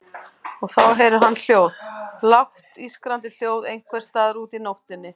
Og þá heyrir hann hljóð, lágt ískrandi hljóð einhvers staðar úti í nóttinni.